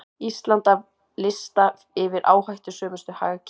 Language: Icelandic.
Ísland af lista yfir áhættusömustu hagkerfin